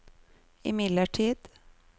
imidlertid